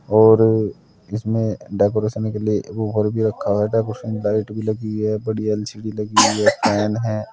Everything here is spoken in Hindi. और इसमें डेकोरेशन के लिए ऊपर भी रखा है डेकोरेशन लाइट भी लगी है बड़ी एल_सी_डी लगी है फैन हैं।